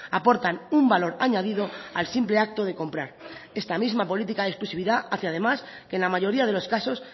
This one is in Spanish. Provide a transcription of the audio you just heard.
aportan un valor añadido al simple acto de comprar esta misma política de exclusividad hace además que la mayoría de los casos